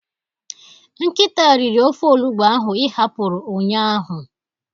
Nkịta riri ofe olugbu ahụ ị hapụrụ ụnyaahụ.